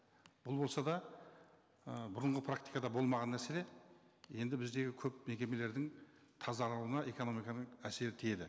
бұл болса да ы бұрынғы практикада болмаған мәселе енді біздегі көп мекемелердің тазалауына экономиканың әсері тиеді